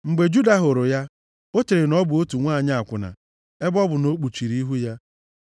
Mgbe Juda hụrụ ya, o chere na ọ bụ otu nwanyị akwụna, ebe ọ bụ na o kpuchiri ihu ya.